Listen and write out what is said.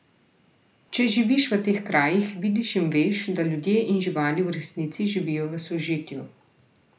Če živiš v teh krajih, vidiš in veš, da ljudje in živali v resnici živijo v sožitju.